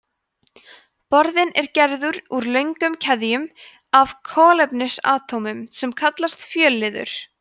borðinn er gerður úr löngum keðjum af kolefnisatómum sem kallast fjölliður